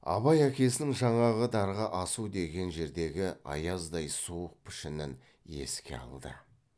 абай әкесінің жаңағы дарға асу деген жердегі аяздай суық пішінін еске алды